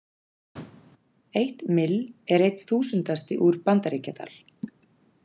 Eitt mill er einn þúsundasti úr Bandaríkjadal.